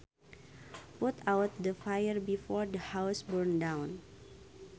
Put out the fire before the house burns down